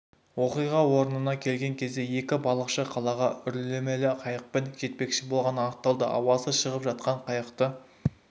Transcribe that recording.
оқиға орныны келген кезде екі балықшы қалаға үрлемелі қайықпен жетпекші болғаны анықталды ауасы шығып жатқан қайықты